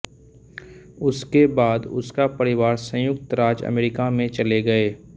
उसके बाद उसका परिवार संयुक्त राज्य अमेरिका में चले गए